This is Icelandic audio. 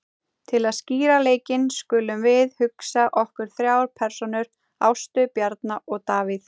Til að skýra leikinn skulum við hugsa okkur þrjár persónur, Ástu, Bjarna og Davíð.